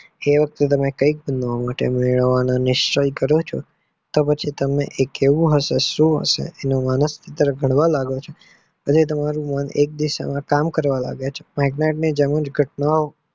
એ વખતે તમે નિલય કરો ચો તો પછી તમને કેવું હશે શું હશે તેનું વલણસૂત્ર કરવા લાગો છો તમારું મન એક દિશા માં કામ કરવા લાગે છે. megret ની વિગત ના હોય